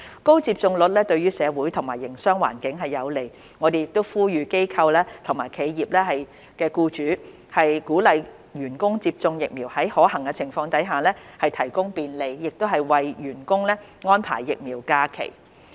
高接種率對社會和營商環境有利，我們呼籲機構及企業僱主鼓勵員工接種疫苗，在可行情況下提供便利，為員工安排疫苗假期。